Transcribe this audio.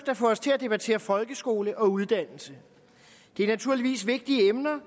at få os til at debattere folkeskole og uddannelse det er naturligvis vigtige emner